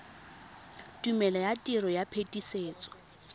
tumelelo ya tiro ya phetisetso